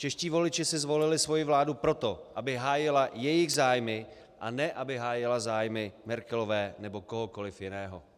Čeští voliči si zvolili svoji vládu proto, aby hájila jejich zájmy, a ne aby hájila zájmy Merkelové nebo kohokoli jiného.